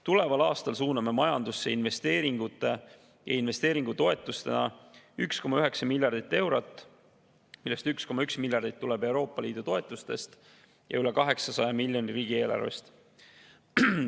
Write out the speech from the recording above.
Tuleval aastal suuname majandusse investeeringutoetustena 1,9 miljardit eurot, millest 1,1 miljardit tuleb Euroopa Liidu toetustest ja üle 800 miljoni riigieelarvest.